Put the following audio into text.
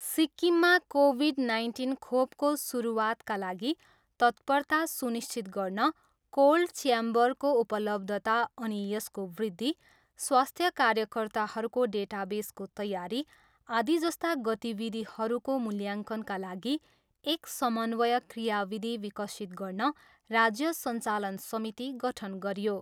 सिक्किममा Covid nineteen खोपको सुरुवातका लागि तत्परता सुनिश्चित गर्न कोल्ड च्याम्बरको उपलब्धता अनि यसको वृद्धि, स्वास्थ्य कार्यकर्ताहरूको डेटाबेसको तयारी, आदि जस्ता गतिविधिहरूको मूल्याङ्कनका लागि एक समन्वय क्रियाविधि विकसित गर्न राज्य सञ्चालन समिति गठन गरियो।